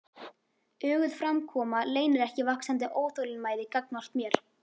Öguð framkoma leynir ekki vaxandi óþolinmæði gagnvart mér.